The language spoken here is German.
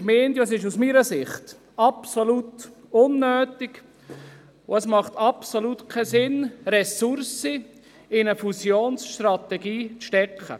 Aus meiner Sicht macht es absolut keinen Sinn, Ressourcen in eine Fusionsstrategie zu stecken.